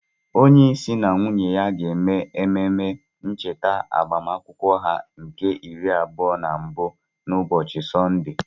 Onye isi na nwunye ya ga-eme ememe ncheta agbamakwụkwọ ha nke iri abụọ na mbụ na ụbọchị Sọnde.